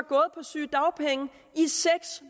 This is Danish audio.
på sygedagpenge i seks